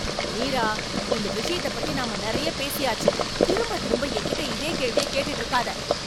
மீரா! இந்த விஷயத்தை பத்தி நாம நிறைய பேசியாச்சு. திரும்பத் திரும்ப என்கிட்ட இதே கேள்விய கேட்டுட்டு இருக்காத.